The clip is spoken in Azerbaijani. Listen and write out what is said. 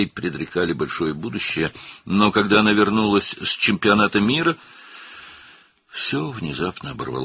Ona böyük gələcək vəd edirdilər, lakin o, dünya çempionatından qayıdanda, hər şey qəfildən dayandı.